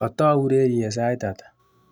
Katau ureriet sait ata?